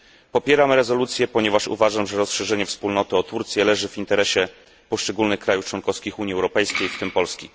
Popieram rezolucję, ponieważ uważam, że rozszerzenie Wspólnoty o Turcję leży w interesie poszczególnych państw członkowskich Unii Europejskiej, w tym Polski.